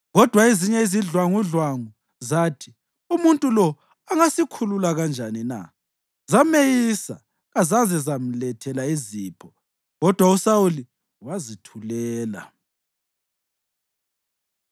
Kodwa ezinye izidlwangudlwangu zathi, “Umuntu lo angasikhulula kanjani na?” Zameyisa kazaze zamlethela zipho. Kodwa uSawuli wazithulela.